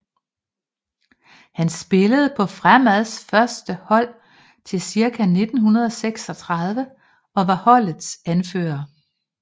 Han spillede på Fremads første hold til cirka 1936 og var holdets anfører